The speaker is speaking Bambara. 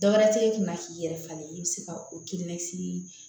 Dɔwɛrɛ tɛ e kunna k'i yɛrɛ falen i bɛ se ka o kirinasi